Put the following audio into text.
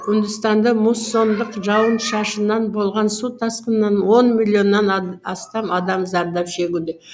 үндістанда муссондық жауын шашыннан болған су тасқынынан он миллионнан астам адам зардап шегуде